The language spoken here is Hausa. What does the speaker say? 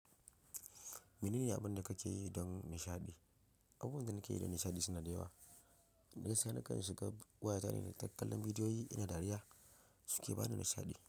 Mene ne abin da kake yi don nishaɗi? Abubuwan da nake yi don nishaɗi suna da yawa. Gaskiya, nakan shiga waya ta ne da kallon bidiyoyi na dariya suke bani nishaɗi.